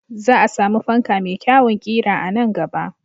Za a samu fanka mai kyawun ƙira a nan gaba.